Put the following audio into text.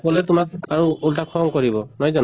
কলে তোমাক আৰু উল্টা খং কৰিব নহয় জানো?